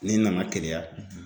Ni n nana keleya